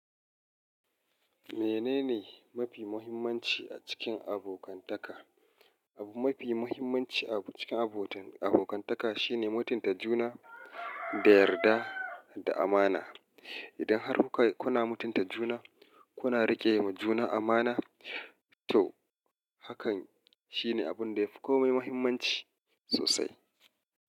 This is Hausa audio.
Menene mafi muhimmanci a cikin abokantaka? Abu mafi muhimmanci a cikin abokantaka shine mutunta juna da yarda da amana. Idan har kuna mutunta juna, kuna riƙe wa juna amana, to hakan shine abun da yafi komai muhimmanci sosai.